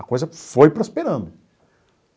A coisa foi prosperando.